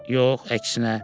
Yox, əksinə.